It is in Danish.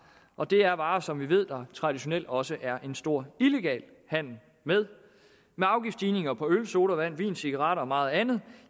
og det er varer som vi ved at der traditionelt også er en stor illegal handel med med afgiftsstigninger på øl sodavand vin cigaretter og meget andet